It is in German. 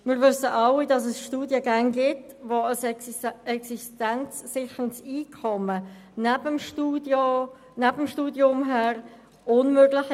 Wir wissen alle, dass es Studiengänge gibt, neben denen ein existenzsicherndes Einkommen zu erzielen unmöglich ist.